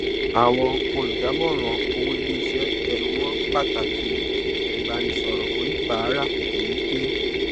àwọn olùdàmóran owó iléiṣẹ tẹnùmọ pàtàkì ìbánisọrọ oníbàárà déédé